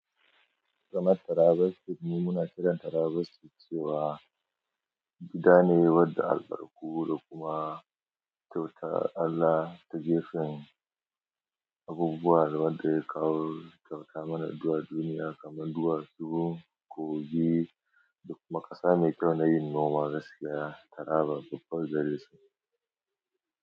Kamar taraba sitin muna kiran taraba sitin cewa gida ne wadda albarku da kuma kyautar Allah ta jefa abubuwan wadda ya kawo ya kyauta mana a zuwa duniya kamar duwasu, kogi da kuma ƙasa mai kyau na yin noma, gaskiya taraba babbar darasi.